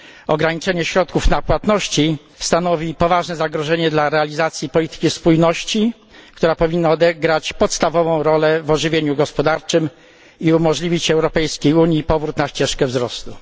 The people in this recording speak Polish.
Ograniczenie środków na płatności stanowi poważne zagrożenie dla realizacji polityki spójności, która powinna odegrać podstawową rolę w ożywieniu gospodarczym i umożliwić Unii Europejskiej powrót na ścieżkę wzrostu.